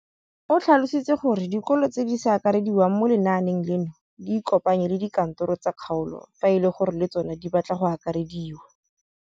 O tlhalositse gore dikolo tse di sa akarediwang mo lenaaneng leno di ikopanye le dikantoro tsa kgaolo fa e le gore le tsona di batla go akarediwa.